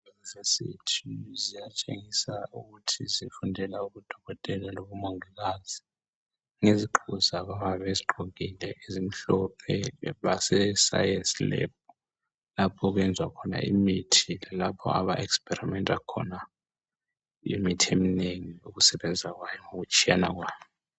Ziyatshenyisa ukuthi zifundela ubudokotela, lobumongikazi. Ngezigqoko zabo, abayabe bezigqokile. ezimhlophe. BaseScience lab. Lapho abenza khona imithi. Lalapho aba experimenta khona imithi eminengi. Ukusebenza kwayo, lokutshiyana kwayo.